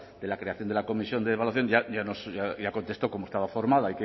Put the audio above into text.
de la creación de la comisión de evaluación ya contestó cómo estaba formada